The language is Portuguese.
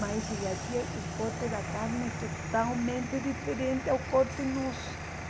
Mas cheguei aqui o corte da carne é totalmente diferente ao corte nosso.